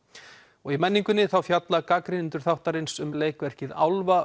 og í menningunni fjalla gagnrýnendur þáttarins um leikverkið